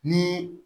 Ni